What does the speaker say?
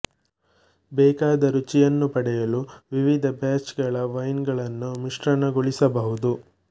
ಬೇಕಾದ ರುಚಿಯನ್ನು ಪಡೆಯಲು ವಿವಿಧ ಬ್ಯಾಚ್ ಗಳ ವೈನ್ ಗಳನ್ನು ಮಿಶ್ರಣಗೊಳಿಸಬಹುದು